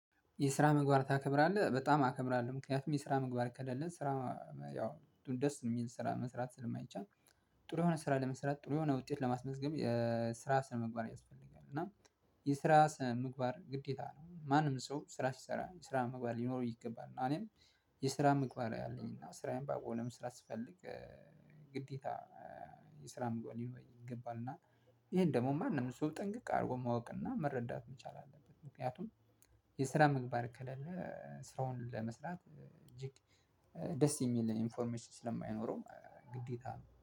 የስራ ምግባር ታከብራለህ በጣም አከብራለህ ምክንያቱም የስራ ምግባር ከሌለን ስራ ያው ደስ የሚል ስራ መስራት ስለማይቻል። ጥሩ የሆነ ስራ ለመስራት ጥሩ የሆነ ውጤት ለማስመዝገብ የስራ ስነ ምግባር ያስፈልጋል። እና የስራ ስነምግባር ግዴታ ነው ማንም ሰው ስራ ሲሰራ ስራ ምግባር ሊኖረው ይገባል። እና እኔም የስራ ምግባር አለኝ። እና ስራዬን በአግባቡ ለመስራት ስፈልግ። ግዴታ የስራ ምግባር ሊኖረኝ ይገባል። እና ይሄን ደግሞ ማንም ሰው ጥንቅቅ አድርጎ ማወቅ እና መረዳት መቻል አለበት። ምክንያቱም የስራ ምግባር ከሌለ ሰራውን ለመስራት የግድ ደስ የሚል ኢንፎርሜሽን ስለማይኖረው ግዴታ